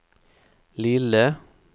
lille